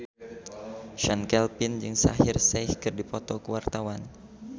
Chand Kelvin jeung Shaheer Sheikh keur dipoto ku wartawan